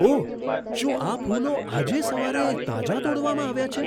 ઓહ! શું આ ફૂલો આજે સવારે તાજાં તોડવામાં આવ્યાં છે?